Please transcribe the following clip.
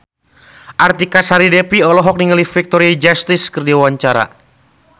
Artika Sari Devi olohok ningali Victoria Justice keur diwawancara